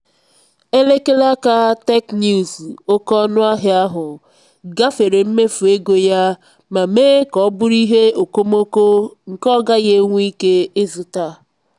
elekere aka teknụzu oke ọnụahịa ahụ gafere mmefu ego ya ma mee ka ọ bụrụ ihe okomoko nke ọ gaghị enwe ike ịzụta.